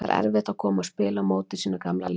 Var erfitt að koma og spila á móti sínu gamla liði?